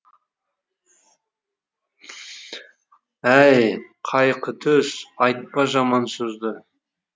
әй қайқытөс айтпа жаман сөзді